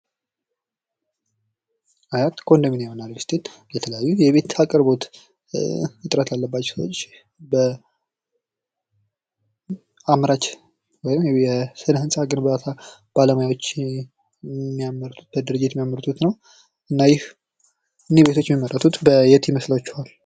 አያት ኮንዶሚኒየም ቤት እና ሪልስቴት የተለያዩ የቤት አቅርቦት እጥረት ያለባቸውን ሰዎች በማምረት ወይም የስነ ህንፃ ግንባታ ባለሙያዎች የሚያመርቱበት ድርጅት ነው እና እነኚህ ቤቶች የሚመረቱት በየት ይመስላችኋል?